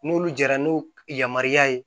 N'olu jara n'u yamaruya ye